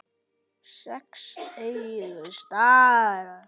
Sex augu stara.